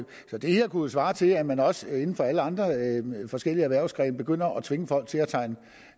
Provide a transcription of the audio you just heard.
det her kunne jo svare til at man også inden for alle andre forskellige erhvervsgrene begynder at tvinge folk til